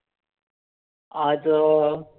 आज अं खि